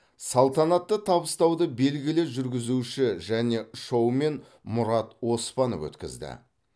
салтанатты табыстауды белгілі жүргізуші және шоумен мұрат оспанов өткізді